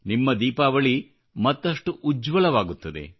ನಿಮ್ಮ ದೀಪಾವಳಿ ಮತ್ತಷ್ಟು ಉಜ್ವಲವಾಗುತ್ತದೆ